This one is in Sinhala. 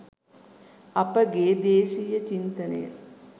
අප ගේ දේශීය චින්තනය